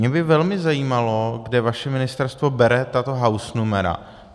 Mě by velmi zajímalo, kde vaše ministerstvo bere tato hausnumera.